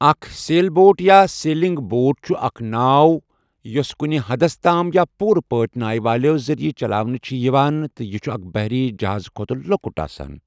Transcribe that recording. اکھ sail boat یا sailing boat چھِ اکھ ناو یوٚس کُنہِ حَدَس تام یا پوٗرٕ پٲٹھۍ نایہِ والٮ۪و ذٔریعہٕ چلاونہِ چھِ یِوان تہٕ یہِ چھُ اکھ بحری جہازٕ کھۄتہٕ لۄکُٹ آسان۔